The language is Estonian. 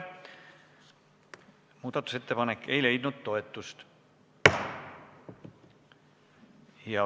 Muudatusettepanek ei leidnud toetust.